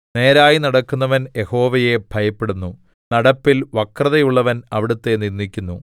നേരായി നടക്കുന്നവൻ യഹോവയെ ഭയപ്പെടുന്നു നടപ്പിൽ വക്രതയുള്ളവൻ അവിടുത്തെ നിന്ദിക്കുന്നു